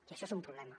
i això és un problema